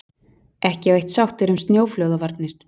Ekki á eitt sáttir um snjóflóðavarnir